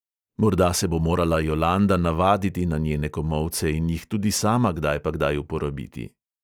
Morda se bo morala jolanda navaditi na njene komolce in jih tudi sama kdaj pa kdaj uporabiti.